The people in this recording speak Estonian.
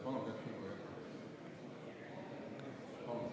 Palun, Kert Kingo, jätkake!